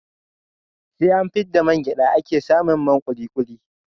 SE an fidda man gyada ake samin man kulikuli